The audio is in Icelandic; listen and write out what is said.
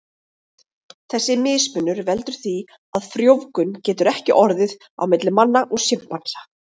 Þessi mismunur veldur því að frjóvgun getur ekki orðið á milli manna og simpansa.